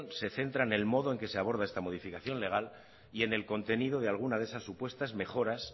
se centra en el modo en el que se aborda esta modificación legal y en el contenido de alguna de esas supuestas mejoras